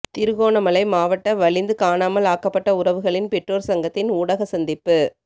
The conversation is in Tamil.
திருகோணமலை மாவட்ட வலிந்து காணாமல் ஆக்கப்பட்ட உறவுகளின் பெற்றோர் சங்கத்தின் ஊடக சந்திப்பு